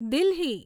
Delhi